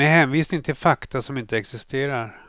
Med hänvisning till fakta som inte existerar.